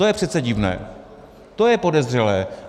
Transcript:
To je přece divné, to je podezřelé.